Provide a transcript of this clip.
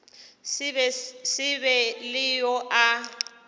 se be le yo a